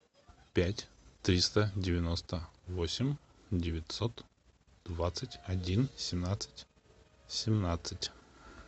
пять триста девяносто восемь девятьсот двадцать один семнадцать семнадцать